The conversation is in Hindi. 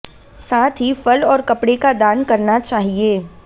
साथ ही फल और कपड़े का दान करना चाहिए